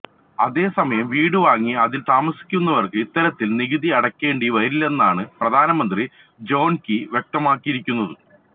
അതേസമയം വീടു വാങ്ങി അതിൽ താമസിക്കുന്നവർക്ക് ഇത്തരത്തിൽ നികുതി അടയ്ക്കേണ്ടി വരില്ലെന്നാണ് പ്രധാനമന്ത്രി ജോൺ കീ വ്യക്തമാക്കിയിരിക്കുന്നത്